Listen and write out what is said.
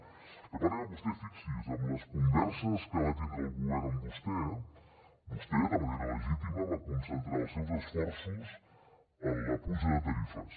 el que passa que vostè fixi’s en les converses que va tindre el govern amb vostè vostè de manera legítima va concentrar els seus esforços en la puja de tarifes